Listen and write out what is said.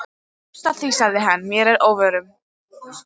Þú kemst að því sagði hann mér að óvörum.